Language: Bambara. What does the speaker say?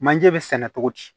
Manje bɛ sɛnɛ cogo di